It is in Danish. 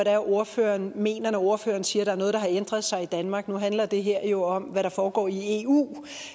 er ordføreren mener når ordføreren siger er noget der har ændret sig i danmark nu handler det her jo også om hvad der foregår i eu